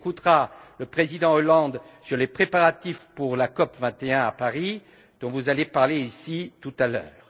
Il écoutera le président Hollande sur les préparatifs pour la COP 21 à Paris, dont vous allez parler ici tout à l'heure.